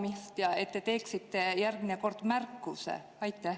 Ja, et te teeksite järgmine kord märkuse?